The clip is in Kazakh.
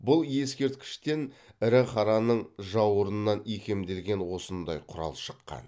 бұл ескерткіштен ірі қараның жауырынынан икемделген осындай құрал шыққан